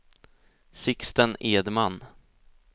Sixten Edman